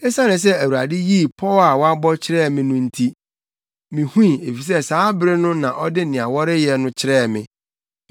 Esiane sɛ Awurade yii pɔw a wabɔ kyerɛɛ me no nti, mihui, efisɛ saa bere no ɔde nea wɔreyɛ no kyerɛɛ me.